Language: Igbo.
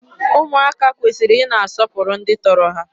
Ụmụaka kwesịrị ị na-asọpụrụ ndị tọrọ ha.